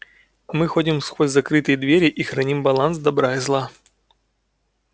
мы ходим сквозь закрытые двери и храним баланс добра и зла